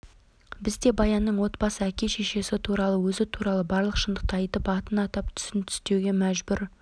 біз де баянның отбасы әке-шешесі туралы өзі туралы барлық шындықты айтып атын атап түсін түстеуге мәжбүр